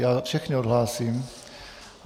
Já všechny odhlásím.